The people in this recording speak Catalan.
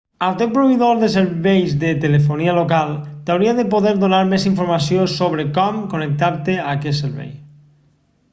el teu proveïdor de serveis de telefonia local t'hauria de poder donar més informació sobre com connectar-te a aquest servei